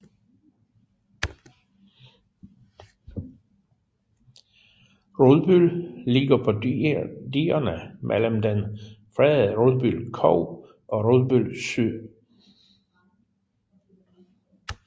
Rudbøl ligger på digerne mellem den fredede Rudbøl Kog og Rudbøl Sø